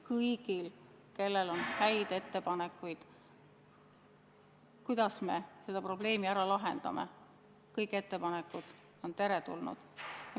Kui kellelgi on häid ettepanekuid, kuidas me selle probleemi ära lahendame, siis kõik ettepanekud on teretulnud.